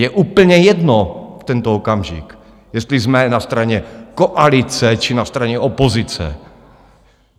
Je úplně jedno v tento okamžik, jestli jsme na straně koalice, či na straně opozice.